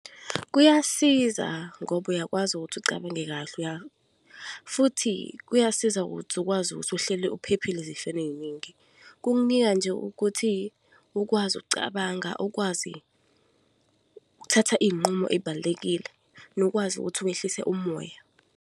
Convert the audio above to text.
Kuyasiza ngoba uyakwazi ukuthi ucabange kahle futhi kuyasiza ukuthi ukwazi ukuthi uhleli uphephile ezifeni eningi. Kukunika nje ukuthi ukwazi ukucabanga, ukwazi ukuthatha iy'nqumo ey'balulekile, nokwazi ukuthi wehlise umoya.